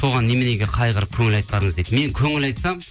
соған неменеге қайғырып көңіл айтпадыңыз дейді мен көңіл айтсам